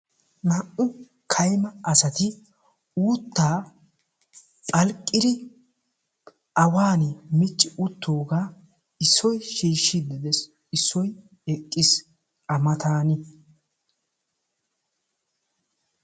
Naa'u kayma asati uuttaa phalqqidi awan micci wottoogaa issoy shiishshiidi de'es. issoy hiixxees. a matan